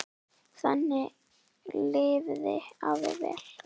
Þannig lifði afi vel.